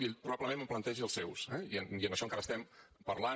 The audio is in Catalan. i ell probablement em plantegi els seus eh i en això encara estem parlant